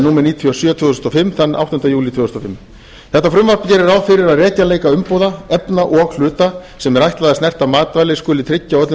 númer níutíu og fimm áttunda júlí tvö þúsund og fimm þetta frumvarp gerir ráð fyrir að rekjanleika umbúða efna og hluta sem er ætlað að snerta matvæli skuli tryggja á öllum